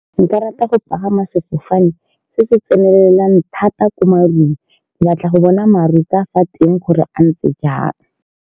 Nka rata go pagama sefofane se se tsenelelang thata ko marung, batla go bona maru ka fa teng gore a ntse jang.